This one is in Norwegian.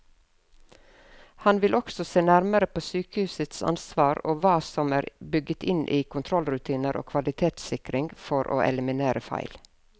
Han vil også se nærmere på sykehusets ansvar og hva som er bygget inn i kontrollrutiner og kvalitetssikring for å eliminere feil.